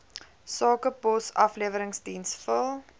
sakepos afleweringsdiens vul